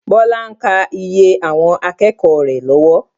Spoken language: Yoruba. Bọlá ń kaa iye àwọn akẹ́kọ̀ọ́ rẹ lọ́wọ́.